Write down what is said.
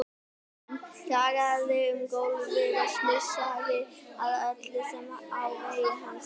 Hann kjagaði um gólfið og snusaði að öllu sem á vegi hans varð.